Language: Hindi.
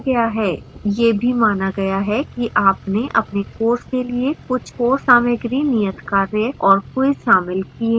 यह भी माना गया है कि आपने अपने course के लिए कुछ course सामाग्री नियतकार्य और quizzes शामिल किए हैं